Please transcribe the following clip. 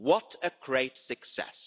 What a great success.